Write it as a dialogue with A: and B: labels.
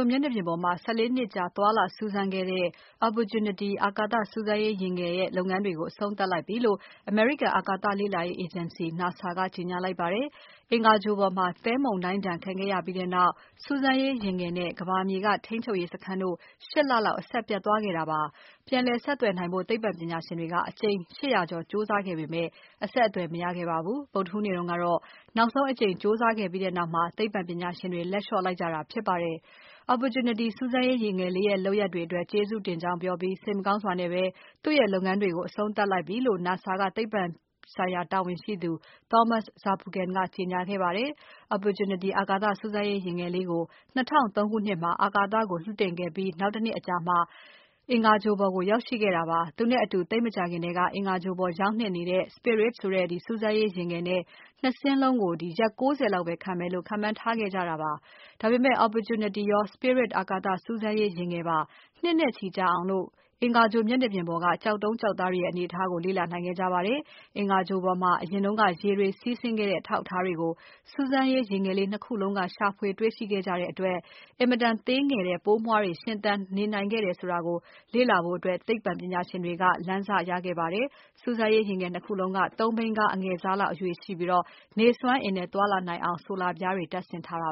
A: လ်မျက်နှာပြင်ပေါ်မှာ ၁၄ နှစ်ကြာ သွားလာစူးစမ်းခဲ့တဲ့ Opportunity အာကာသစူးစမ်းရေးယာဉ်ငယ်လေးရဲ့လုပ်ငန်းတွေကို အဆုံးသပ်လိုက်ပြီလို့ အမေရိကန်အာကာသလေ့လာရေးအေဂျင်စီ NASA ကကြေညာလိုက်ပါတယ်။ အင်္ဂါဂြိုလ်ပေါ်မှာ သဲမုန်တိုင်းဒဏ်ခံခဲ့ရပြီးနောက် စူးစမ်းရေးယာဉ်ငယ်နဲ့ ကမ္ဘာမြေက ထိန်းချုပ်ရေးစခန်းတို့ ၈ လလောက် အဆက်ပြတ်သွားခဲ့တာပါ။ ပြန်လည်ဆက်သွယ်နိုင်ဖို့ သိပ္ပံပညာရှင်တွေက အကြိမ် ၈၀၀ ကျော် ကြိုးစားခဲ့ပေမဲ့ အဆက်အသွယ်မရခဲ့ပါဘူး။ ဗုဒ္ဓဟူးနေ့တုန်းကတော့ နောက်ဆုံးအကြိမ် ကြိုးစားခဲ့ပြီးနောက်မှာ သိပ္ပံပညာရှင်တွေ လက်လျော့လိုက်ကြတာ ဖြစ်ပါတယ်။ Opportunity စူးစမ်းရေးယာဉ်ငယ်လေးရဲ့ လုပ်ရပ်တွေအတွက် ကျေးဇူးတင်ကြောင်းပြောပြီး စိတ်မကောင်းစွာနဲ့ပဲ သူ့ရဲ့လုပ်ငန်းတွေကို အဆုံးသတ်လိုက်ပြီလို့ NASA ကသိပ္ပံဆိုင်ရာတာဝန်ရှိသူ Thomas Zurbuchen က ကြေညာခဲ့ပါတယ်။ Opportunity အာကာသစူးစမ်းရေး ယာဉ်ငယ်လေးကို ၂၀၀၃ ခုနှစ်မှာအာကာသကို လွှတ်တင်ခဲ့ပြီး နောက်တနှစ်အကြာမှာ အင်္ဂါဂြိုလ်ပေါ်ကို ရောက်ရှိခဲ့တာပါ။ သူနဲ့အတူသိပ်မကြာခင်ထဲက အင်္ဂါဂြိုလ်ပေါ်ရောက်နှင့်နေတဲ့ Spirit ဆိုတဲ့စူးစမ်းရေးယာဉ်ငယ် ၂ စင်းလုံးကို ရက် ၉၀ လောက်ပဲခံမယ်လို့ ခန့်မှန်းခဲ့ကြတာပါ။ ဒါပေမဲ့ Opportunity ရော Spirit အာကာသစူးစမ်းရေးယာဉ်ငယ်ပါ နှစ်နဲ့ချီကြာ အင်္ဂါဂြိုလ်မျက်နှာပြင်ပေါ်က ကျောက်တုံး ကျောက်သားတွေရဲ့အနေအထားတွေကို လေ့လာနိုင်ခဲ့ကြပါတယ်။ အင်္ဂါဂြိုလ်ပေါ်မှာ အရင်က ရေတွေစီးဆင်းခဲ့တဲ့ အထောက်အထားတွေကို စူးစမ်းရေးယာဉ်ငယ် ၂ ခုလုံးက ရှာဖွေတွေ့ရှိခဲ့ကြတဲ့အတွက် အင်မတန်သေးငယ်တဲ့ ပိုမွှားတွေ ရှင်သန်ခဲ့နိုင်တယ်ဆိုတာကို လေ့လာဖို့ သိပ္ပံပညာရှင်တွေ လမ်းစရခဲ့ကြပါတယ်။ စူးစမ်းရေးယာဉ်ငယ် ၂ ခုလုံးက ၃ ဘီးကားအငယ်စားလောက် အရွယ်ရှိပြီး နေစွမ်းအင်နဲ့သွားလာနိုင်အောင် ဆိုလာပြားတွေတပ်ဆင်ထားပါ